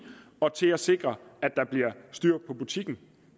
og til at sikre at der bliver styr på butikken